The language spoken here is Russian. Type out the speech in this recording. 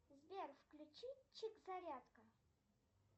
сбер включи чик зарядка